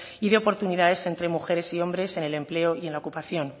y de oportunidades entre mujeres y hombres en el empleo y en la ocupación